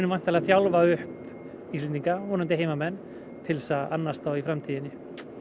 þjálfa upp Íslendinga vonandi heimamenn til að annast þá í framtíðinni